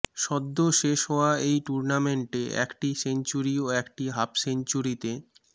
সদ্য শেষ হওয়া এই টুর্নামেন্টে একটি সেঞ্চুরি ও একটি হাফসেঞ্চুরিতে